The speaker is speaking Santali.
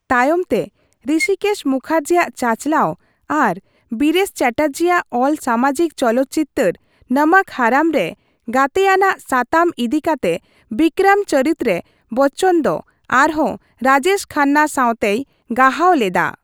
ᱛᱟᱭᱚᱢᱛᱮ ᱨᱤᱥᱤᱠᱮᱥ ᱢᱩᱠᱷᱟᱨᱡᱤᱭᱟᱜ ᱪᱟᱪᱟᱞᱟᱣ ᱟᱨ ᱵᱤᱨᱮᱥ ᱪᱮᱴᱟᱨᱡᱤᱭᱟᱜ ᱚᱞ ᱥᱟᱢᱟᱡᱤᱠ ᱪᱚᱞᱚᱛᱪᱤᱛᱟᱹᱨ 'ᱱᱚᱢᱚᱠ ᱦᱟᱨᱟᱢ' ᱨᱮ ᱜᱟᱛᱮ ᱟᱱᱟᱜ ᱥᱟᱛᱟᱢ ᱤᱫᱤᱠᱟᱛᱮ ᱵᱤᱠᱚᱨᱚᱢ ᱪᱚᱨᱤᱛ ᱨᱮ ᱵᱚᱪᱪᱚᱱ ᱫᱚ ᱟᱨᱦᱚᱸ ᱨᱟᱡᱮᱥ ᱠᱷᱟᱱᱱᱟ ᱥᱟᱶᱛᱮᱭ ᱜᱟᱦᱟᱣ ᱞᱮᱫᱟ ᱾